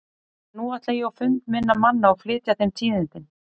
En nú ætla ég á fund minna manna og flytja þeim tíðindin.